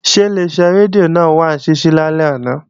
Ṣé Ileṣẹ́ rédíò náà wà ní ṣíṣí lálẹ́ àná?